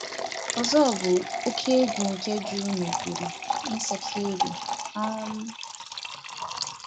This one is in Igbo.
Ọzọ bụ oke egwu nke jụrụ n’obodo.(insecurity) um